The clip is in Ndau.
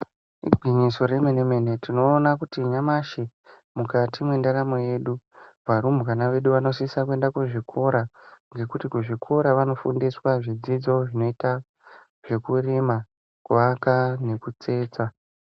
Igwinyiso remene-mene tinoona kuti nyamashi mukati mwendaramo yedu varumbwana vedu vanosisa kuenda kuzvikora ngekuti kuzvikora vanofundiswa zvidzidzo zvinoita zvekurima , kuaka nekutsetsa.